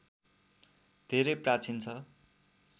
धेरै प्राचीन छ